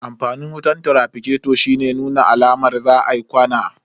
Amfanin wutan traficato shine nuna alamar za a yi ƙwana.